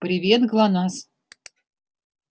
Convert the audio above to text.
привет глонассс